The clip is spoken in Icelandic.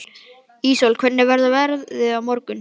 Íssól, hvernig verður veðrið á morgun?